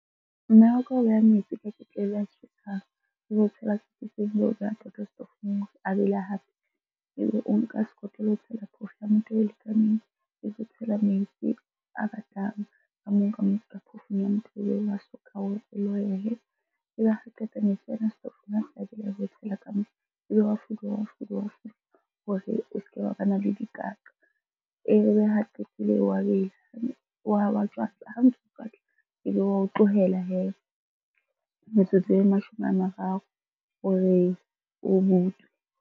Mme wa ka o beha metsi a ketlele a tjhesang, ebe o a bele hape. Ebe o nka sekotlolo o tshela phoofo ya motoho e lekaneng, ebe o tshela metsi a batang ka moo phoofong ya motoho ebe wa soka . Ebe ha qeta metsi setofong tshela ka moo, ebe wa fuduwa, wa fuduwa, wa fuduwa hore o se ke be wa bana le dikaqa. Ebe ha qetile wa wa tjwatla. Ha ntso o tjwatla, ebe wa o tlohela hee metsotso e mashome a mararo hore o butswe.